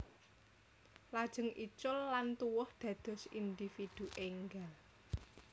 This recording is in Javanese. Lajeng icul lan tuwuh dados individu énggal